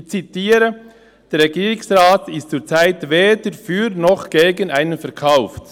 Ich zitiere: «Der Regierungsrat ist zurzeit weder für noch gegen einen Verkauf.